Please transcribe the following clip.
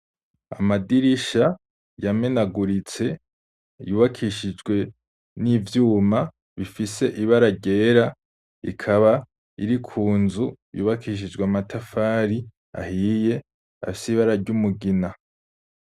Amadirisha yamenaguritse, yubakishijwe n'ivyuma, bifise ibara ryera, ikaba iri ku nzu yubakishijwe amatafari ahiye, afise ibara ry'umugina.